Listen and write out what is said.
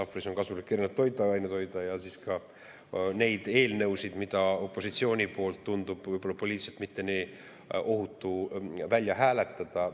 Sahvris on kasulik erinevaid toiduaineid hoida ja ka neid eelnõusid, mille puhul tundub, et võib-olla pole poliitiliselt ohutu neid välja hääletada.